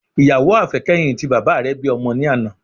Ìyàwó àfẹ́kẹ́yìn ti bàbá rẹ bí ọmọ ní àná